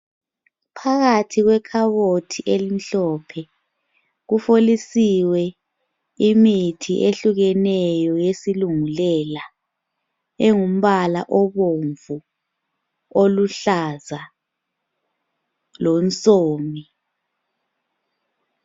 Phakathi kwekhabothi elimhlophe kufolisiwe imithi ehlukeneyo yesilungulela engumbala obomvu, oluhlaza lomsomi.